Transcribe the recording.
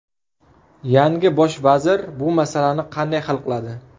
Yangi bosh vazir bu masalani qanday hal qiladi?